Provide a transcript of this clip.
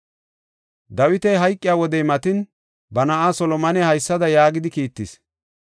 Dawitas hayqiya wodey matin, ba na7aa Solomone haysada yaagidi kiittis;